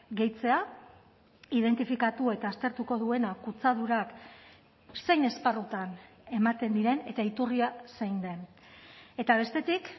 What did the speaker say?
gehitzea identifikatu eta aztertuko duena kutsadurak zein esparrutan ematen diren eta iturria zein den eta bestetik